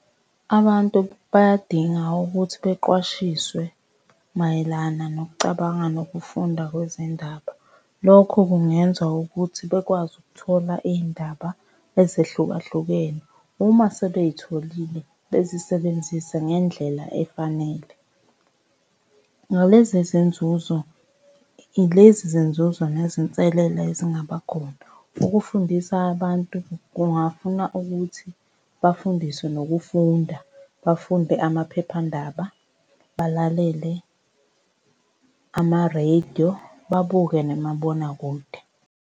Abantu bayadinga ukuthi beqwashiswe mayelana nokucabanga nokufunda kwezindaba. Lokho kungenza ukuthi bekwazi ukuthola iy'ndaba ezehlukahlukene. Uma sebey'tholile bezisebenzise ngendlela efanele. Ngalezi izinzuzo, ilezi izinzuzo nezinselela ezingaba khona. Ukufundisa abantu kungafuna ukuthi bafundiswe nokufunda, bafunde amaphephandaba, balalele amarediyo, babuke nemabonakude.